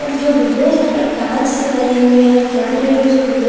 और जो विंडोज हैं पूरे कांच से बने हुए हैं फ्रंट में भी जो विंडो --